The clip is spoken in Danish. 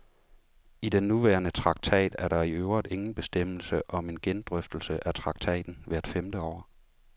I den nuværende traktat er der i øvrigt ingen bestemmelse om en gendrøftelse af traktaten hvert femte år.